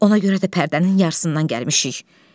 Ona görə də pərdənin yarısından gəlmişik.